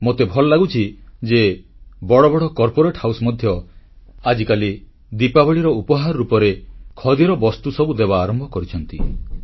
ମୋତେ ଭଲ ଲାଗୁଛି ଯେ ବଡ଼ ବଡ଼ ଉଦ୍ୟୋଗ ମଧ୍ୟ ଆଜିକାଲି ଦିପାବଳୀର ଉପହାର ରୂପରେ ଖଦୀ ବସ୍ତୁସାମଗ୍ରୀ ସବୁ ଦେବା ଆରମ୍ଭ କରିଛନ୍ତି